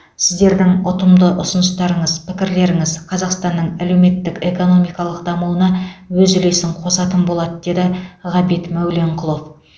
сіздердің ұтымды ұсыныстарыңыз пікірлеріңіз қазақстанның әлеуметтік экономикалық дамуына өз үлесін қосатын болады деді ғабит мәуленқұлов